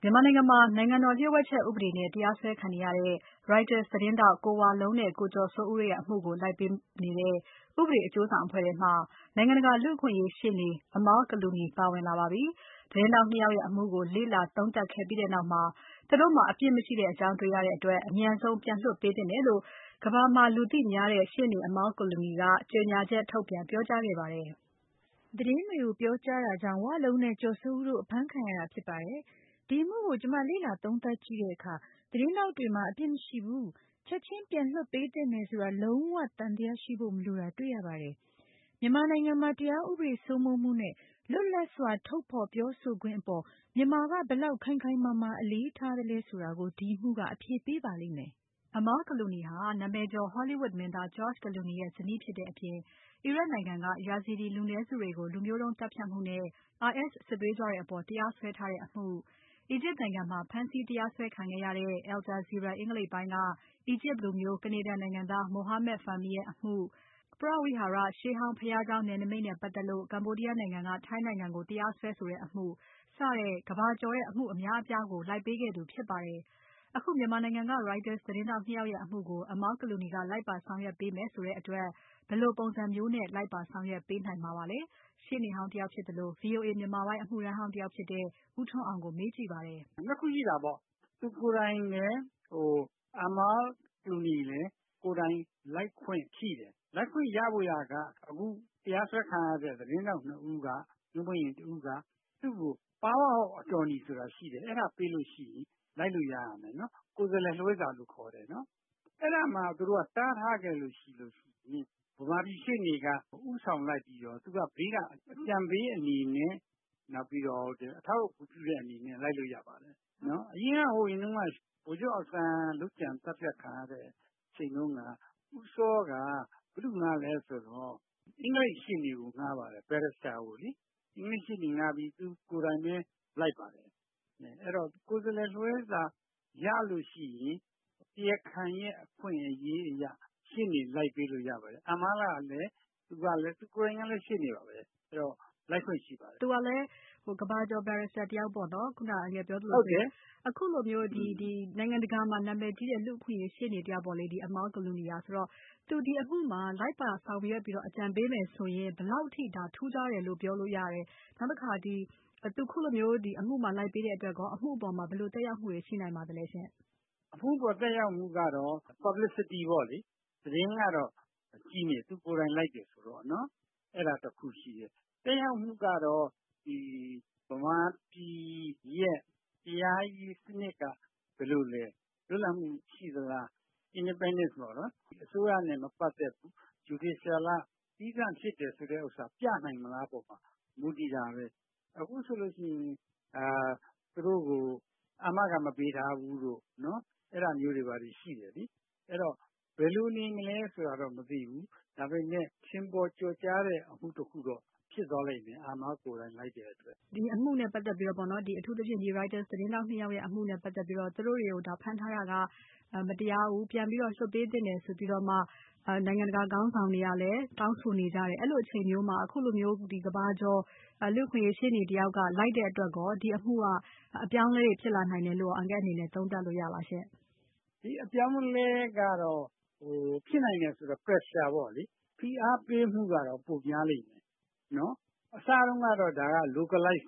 မြန်မာနိုင်ငံမှာ နိုင်ငံတော်လျို့ဝှက်ချက်ဥပဒေနဲ့ တရားစွဲခံနေရတဲ့ Reuters သတင်းထောက် ကိုဝလုံးနဲ့ ကိုကျော်စိုးဦးတို့အမှုကိုလိုက်ပေးနေတဲ့ ဥပဒေအကျိုးဆောင်အဖွဲ့မှာ နိုင်ငံတကာလူ့အခွင့်အရေးရှေ့နေ Amal Clooney ပါဝင်လာပါပြီ။ သတင်းထောက် ၂ ယောက်ရဲ့ အမှုကိုလေ့လာသုံးသပ်ခဲ့ပြီးနောက် သူတို့မှာ အပြစ်မရှိကြောင်း တေ့ွရတဲ့အတွက် အမြန်ဆုံးပြန်လွှတ်ပေးသင့်တယ်လို့ ကမ္ဘာမှာလူသိများတဲ့ ရှေ့နေ Amal Clooney က ကြေညာချက်ထုတ်ပြန်ပြောကြားခဲ့ပါတယ်။ မစုမြတ်မွန်က ဆက်ပြီးပြောပြမှာပါ။ "သတင်းတွေကို ပြောကြားတာကြောင့် ဝလုံးနဲ့ ကျော်စိုးဦးတို့အဖမ်းခံရတာဖြစ်ပါတယ်။ ဒီအမှုကို ကျွန်မလေ့လာသုံးသပ်ကြည့်တဲ့အခါ သတင်းထောက်တွေမှာ အပြစ်မရှိဘူး ချက်ချင်းပြန်လွှတ်ပေးသင့်တယ်ဆိုတာ လုံးဝသံသယ ရှိဖို့မလိုတာတွေ့ရပါတယ်။ မြန်မာနိုင်ငံမှာ တရားဥပဒေစိုးမိုးမှု နဲ့ လွတ်လပ်စွာ ထုတ်ဖော်ပြောဆိုခွင့်အပေါ် မြန်မာက ဘယ်လောက် ခိုင်ခိုင်မာမာ အလေးထားသလဲဆိုတာကို ဒီအမှုက အဖြေပေးပါလိမ့်မယ်။" Amal Clooney ဟာ နာမည်ကျော် Hollywood မင်းသား George Clooney ရဲ့ ဇနီးဖြစ်တဲ့အပြင် အီရတ်နိုင်ငံက Yazidi လူနည်းစုတွေကို လူမျိုးတုန်းသတ်ဖြတ်မှုနဲ့ IS စစ်သွေးကြွတွေအပေါ် တရားစွဲထားတဲ့အမှု။ အီဂျစ်နိုင်ငံမှာ ဖမ်းဆီးတရားစွဲခံခဲ့ရတဲ့ Al Jazeera အင်္ဂလိပ်ပိုင်းက အီဂျစ်လူမျိုး ကနေဒါနိုင်ငံသား Mohamed Fahmy ရဲ့ အမှု၊ Preah Vihear ပရဝိဟာရ ရှေးဟောင်းဘုရားကျောင်း နယ်နိမိတ်နဲ့ပါတ်သက်လို့ ကမ္ဘောဒီယားနိုင်ငံက ထိုင်းနိုင်ငံကို တရားစွဲဆိုတဲ့ အမှု စတဲ့ကမ္ဘာကျော်တဲ့ အမှုအများအပြားကို လိုက်ပေးခဲ့သူဖြစ်ပါတယ်။ အခု မြန်မာနိုင်ငံက Reuters သတင်းထောက် ၂ ယောက်ရဲ့ အမှုကို Amal Clooney ကလိုက်ပါဆောင်ရွက်ပေးမယ်ဆိုတဲ့အတွက် ဘယ်လိုပုံစံမျိုးနဲ့ လိုက်ပါဆောင်ရွက်ပေးနိုင်မှာပါလဲ။ ရှေ့နေဟောင်းတယောက်ဖြစ်သလို VOA မြန်မာပိုင်းအမှုထမ်းဟောင်းတယောက်ဖြစ်တဲ့ ဦးထွန်းအောင် ကိုမေးကြည့်ပါတယ်။ "၂ ခုရှိတာပေါ့ သူကိုယ်တိုင် Amal Clooney ကိုယ်တိုင်လည်း လိုက်ခွင့်ရှိတယ် ။ လိုက်ခွင့်ရဖို့က အခုတရားစွဲခံရတဲ့ သတင်းထောက် ၂ ဦးက သူ့ကို Power of attorney ဆိုတာ သူ့ကို ပေးလို့ရှိရင် လိုက်လို့ရမယ်။ ကိုယ်စားလှယ်လွှဲစာလို့ခေါ်ပါတယ်။ အဲဒါကို သူတို့ တားထားခဲ့ရင် မြန်မာပြည်ရှေ့နေက ဦးဆောင်လိုက်ပြီးတော့ သူက ဘေးက အကြံပေးအနေနဲ့ နောက်ပြီးတော့ အထောက်အကူပြုတဲ့အနေနဲ့ လိုက်ပါလို့ရပါတယ်။ ဟိုအရင်တုန်းကဆိုရင်လည်း ဗိုလ်ချုပ်အောင်ဆန်း လုပ်ကြံသတ်ဖြတ်ခံရတဲ့ အချိန်တုန်းက ဦးစောက ဘယ်သူ့ကိုဌားသလဲဆိုတော့ အင်္ဂလိပ်ရှေ့နေကို ဌားပါတယ်။ သူကိုယ်တိုင်လည်းလိုက်ပါတယ်။ အဲဒီတော့ ကိုယ်စားလှယ်လွှဲစာရလို့ရှိရင် တရားခံရဲ့အခွင့်အရေးအရ ရှေ့နေလိုက်ပေးလို့ရပါတယ်။ Amal ကိုယ်တိုင်လည်း ရှေ့နေပါပဲ အဲဒီတော့ လိုက်ခွင့်ရှိပါတယ်။ မေး။ ။ သူကလည်း ကမ္ဘာကျော် barrister တယောက်ပေါ့နော် အခုလိုမျိုး နိုင်ငံတကာမှာ နာမည်ကြီးတဲ့ လူ့အခွင့်အရေး ရှေ့နေတယောက်ပေါ့လေ Amal Clooneyက ဆိုတော့ သူ ဒီအမှုမှာ လိုက်ပါဆောင်ရွက်ပြီးတော့ အကြံပေးမယ်ဆိုရင် ဘယ်လောက်အထိ ထူးခြားတယ်လို့ ပြောလို့ရသလဲ နောက်တခါ သူ အခုလို အမှုမှာ လိုက်ပေးတဲ့အတွက်ရော အမှုအပေါ်မှာ ဘယ်လိုသက်ရောက်မှုတွေ ရှိနိုင်ပါသလဲရှင့်။ ဖြေ။ ။ အမှုအပေါ်မှာ သက်ရောက်မှုကတော့ Publicity ပေါ့လေ သတင်းကတော့ ကြီးမယ် သူကိုယ်တိုင်လိုက်မယ်ဆိုတော့နော် အဲဒါတခုရှိတယ်။ သက်ရောက်မှုကတော့ မြန်မာပြည်တရားရေးစနစ်က ဘယ်လိုလဲ လွတ်လပ်မှုရှိသလား independent ပေါ့နော် အစိုးရနဲ့ မပတ်သက်ဘူး Judicial က သီးသန့်ဖြစ်တယ် ဆိုတာ ပြနိုင်မလားဆိုတာ မူတည်ပါတယ်။ အခုဆိုရင် သူတို့ကို အာမခံမပေးထားဘူး အဲဒါမျိုးတွေ ရှိတယ် အဲဒီတော့ ဘယ်လိုနေမလဲဆိုတာကတော့ မသိဘူး ဒါပေမယ့် ထင်ပေါ်ကျော်ကြားတဲ့ အမှုတခုတော့ ဖြစ်သွားလိမ့်မယ် Amal ကိုယ်တိုင် လိုက်တယ်ဆိုပြီး။ မေး။ ။ Reuters သတင်းထောက် ၂ ယောက်ရဲ့ အမှုနဲ့ ပတ်သက်ပြီးတော့ အထူးသဖြင့် သူတို့ကို ဖမ်းထားတာက မတရားဘူး ပြန်ပြီးတော့ လွှတ်ပေးသင့်တယ်ဆိုပြီးမှ နိုင်ငံတကာခေါင်းဆောင်တွေလည်း တောင်းဆိုနေတယ် အဲလိုအချိန်မျိုးမှာ ကမ္ဘာကျော် လူ့အခွင့်အရေးရှေ့နေတယောက်လိုက်တဲ့အတွက် ဒီအမှုက အပြောင်းအလဲတွေဖြစ်လာနိုင်တယ်လို့ အန်ကယ့်အနေနဲ့ သုံးသပ်လို့ရသလားရှင့်။ ဖြေ။ ။ ဒီ အပြောင်းအလဲက ဖြစ်နိုင်တယ်ဆိုတာကတော့ Pressure ပေါ့လေ ဖိအားပေးမှုပိုများလိမ့်မယ်။ အစတုန်းကတော့ localize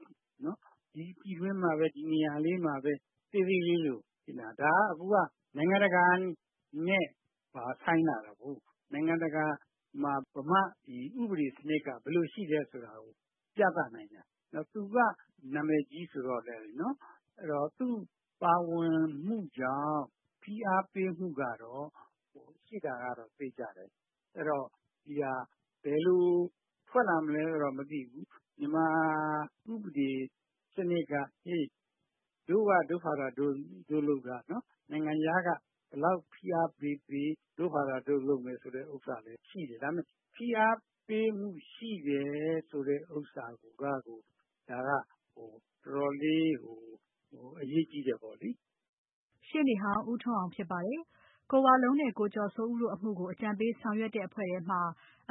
ဒီပြည်တွင်းမှာပဲ ဒီနေရာမှာပဲ သေးသေးလေးလိုဖြစ်နေတယ်။ ဒါအခုက နိုင်ငံတကာနဲ့ ဆိုင်လာတာကို နိုင်ငံတကာမှာ မြန်မာ့ဥပဒေစနစ်က ဘယ်လိုရှိသလဲဆိုတာ ပြသနိုင်တယ် သူက နာမည်ကြီးဆိုတော့ သူ့ပါဝင်မှုကြောင့် သူ့ဖိအားပေးမှုက ရှိတာသေချာတယ် အဲဒီတော့ ဒီဟာ ဘယ်လိုထွက်လာမလဲဆိုတာကတော့ မသိဘူး ။ မြန်မာဥပဒေစနစ်က တို့က တို့ဟာတို့ လုပ်တာ နိုင်ငံခြားက ဖိအားဘယ်လောက်ပေးပေး တို့က တို့ဟာတို့ လုပ်မယ်ဆိုတာလည်း ရှိတယ်။ ဒါပေမယ့် ဖိအားပေးမူရှိတယ်ဆိုတာကို ဒါက တော်တော်လေးအရေးကြီးတယ်ပေါ့လေ။" ရှေ့နေဟောင်း ဦးထွန်းအောင်ဖြစ်ပါတယ်။ ကိုဝလုံးနဲ့ ကိုကျော်စိုးဦးတို့အမှုကို အကြံပေးဆောင်ရွက်တဲ့အဖွဲ့မှာ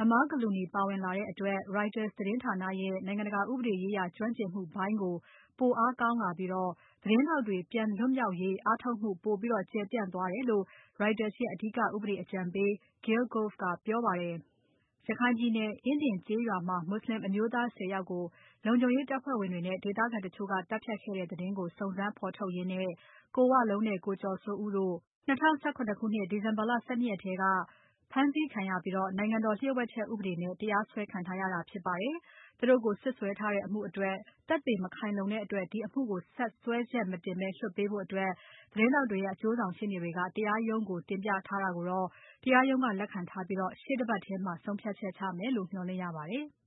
Amal Clooney ပါဝင်လာတဲ့အတွက် Reuter သတင်းဌာနရဲ့ နိုင်ငံတကာ ဥပဒေရေးရာ ကျွမ်းကျင်မှုပိုင်း ပိုအားကောင်းလာပြီး သတင်းထောက်တွေ ပြန်လွှတ်မြောက်ရေးအားထုတ်မှု ပိုပြီးကျယ်ပြန့်သွားတယ်လို့ Reuters ရဲ့ အဓိကဥပဒေအကြံပေး Gail Gove ကပြောပါတယ်။ ရခိုင်ပြည်နယ် အင်းဒင်ကျေးရွာမှာ မွတ်ဆလင်အမျိုးသား ၁၀ ယောက်ကို လုံခြုံရေးတပ်ဖွဲ့ဝင်တွေနဲ့ ဒေသခံတချို့က သတ်ဖြတ်ခဲ့တဲ့ သတင်းကို စုံစမ်းဖော်ထုတ်ရင်းနဲ့ ကိုဝလုံးနဲ့ ကိုကျော်စိုးဦးတို့ 2017 ခုနှစ် ဒီဇင်ဘာ ၁၂ ရက်နေ့က ဖမ်းဆီးခံရပြီး နိုင်ငံတော်လှို့ဝှက်ချက်ဥပဒေနဲ့ တရားစွဲခံထားရတာဖြစ်ပါတယ်။ သူတို့ကို စွပ်စွဲထားတဲ့ အမှုအတွက် သက်သေမခိုင်လုံတဲ့အတွက် ဒီအမှုကို ဆက်စွဲချက်မတင်ဘဲ လွှတ်ပေးဖို့ သတင်းထောက်တွေရဲ့ အကျိုးဆောင်ရှေ့နေတွေက တရားရုံးကို တင်ပြခဲ့တာကိုတော့ တရားရုံးကလက်ခံထားပြီး ရှေ့တပါတ်ထဲမှာ ဆုံးဖြတ်မယ်လို့ မျှော်လင့်ရပါတယ်။